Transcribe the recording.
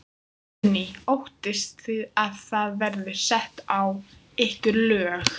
Guðný: Óttist þið að það verði sett á ykkur lög?